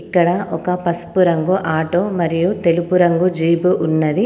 ఇక్కడ ఒక పసుపు రంగు ఆటో మరియు తెలుపు రంగు జీపు ఉన్నది.